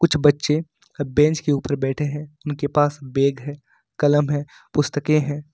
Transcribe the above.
कुछ बच्चे बेंच के ऊपर बैठे हैं उनके पास बैग है कलम है पुस्तकें हैं।